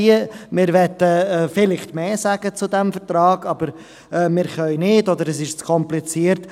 Wir möchten vielleicht mehr sagen zu diesem Vertrag, aber wir können nicht, oder es ist zu kompliziert.